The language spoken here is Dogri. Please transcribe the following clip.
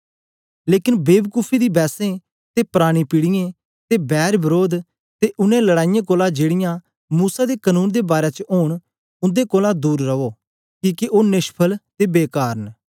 लेकन बे बकुफी दी बैसें ते परानी पीढ़ियें ते बैरवरोध ते उनै लड़ाईयें कोलां जेड़ीयां मूसा दे कनून दे बारै च ओंन उन्दे कोलां दूर रो किके ओ नेष्फल ते बेकार न